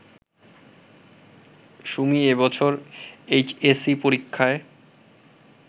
সুমি এবছর এইচএসসি পরীক্ষায়